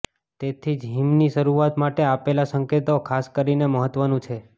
તેથી જ હીમની શરૂઆત માટે આપેલા સંકેતો ખાસ કરીને મહત્વનું છે